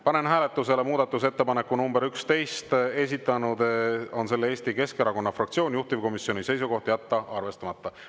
Panen hääletusele muudatusettepaneku nr 11, esitanud on selle Eesti Keskerakonna fraktsioon, juhtivkomisjoni seisukoht on jätta arvestamata.